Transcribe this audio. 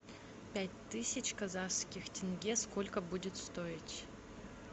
пять тысяч казахских тенге сколько будет стоить